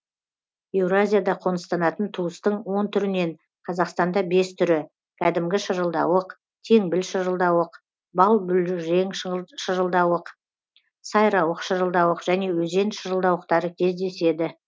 еуразияда қоныстанатын туыстың он түрінен қазақстанда бес түрі кәдімгі шырылдауық теңбіл шырылдауық балбұлрең шырылдауық сайрауық шырылдауық және өзен шырылдауықтары кездеседі